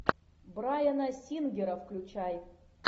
брайана сингера включай